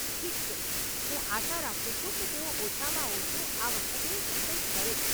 ઠીક છે, હું આશા રાખું છું કે તેઓ ઓછામાં ઓછું આ વખતે તે કંઈક કરે.